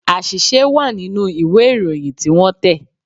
Àṣìṣe wà nínú ìwé Ìròyìn tí wọ́n tẹ̀